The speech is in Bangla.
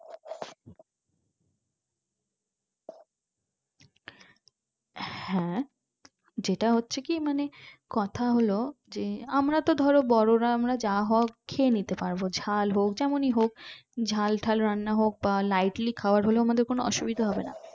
হ্যাঁ যেটা হচ্ছে কি মানে কথা হলো যে আমরা তো ধরো বড়োরা আমরা যা হোক খেয়েনিতে পারবো ঝাল হোক যেমনই হোক ঝাল টাল রান্না হোক বা lightly খাবার হলেও আমাদের অসুবিধা হবেনা